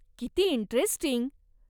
किती इंटरेस्टिंग!